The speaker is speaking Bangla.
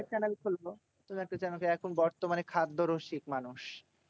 Channel খুলবো এখন বর্মানে খাদ্য রসিক মানুষ।